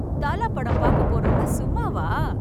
தல படம் பாக்கப் போறோம்னா சும்மாவா?